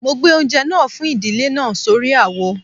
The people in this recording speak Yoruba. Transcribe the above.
Mo gbé oúnjẹ náà fún ìdílé náà sórí àwo